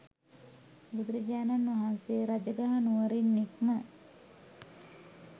බුදුරජාණන් වහන්සේ රජගහ නුවරින් නික්ම